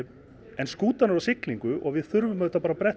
en skútan er á siglingu og við þurfum auðvitað bara að bretta